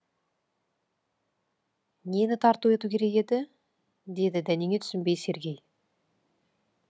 нені тарту ету керек еді деді дәнеңе түсінбей сергей